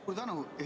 Suur tänu!